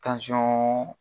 Tansɔn